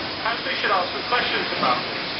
Perhaps we should ask some questions about this.